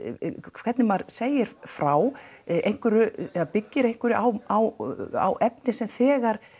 hvernig maður segir frá einhverju eða byggir einhverju á á á efni sem þegar